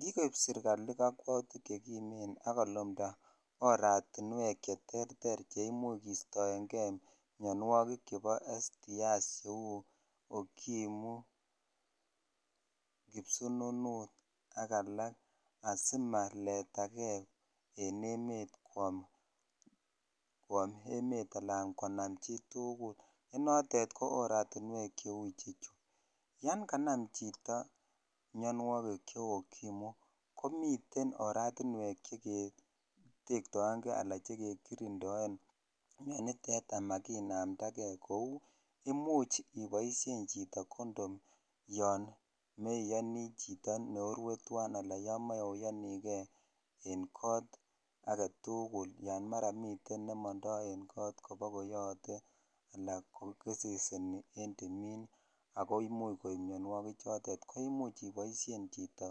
kigoiib sergali oratinweek cherter cheimuch kestoengee myonwogiik chebo sexual transmitted infections cheuu okimwi, kipsununuut ak alak asimaletagee en emet kwoom emeet anan konaam chituguul, ko notoon ko aratinweek chechu , yaan kanam chito myonwogiik cheuu okimwi komiten oratinweek chegekirinddooe, inonitetan maginamdagee kouu imuuch iboishen chito condom yon meyonii chito norue twaan anan yoon moroyonigee en koot, maraan mii chito nemondoo en koot anan kogeseseni en timiin agoo imuuch myonwogiik chotet koimuch iboishen chito